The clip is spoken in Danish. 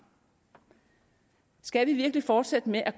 skal vi virkelig fortsætte med at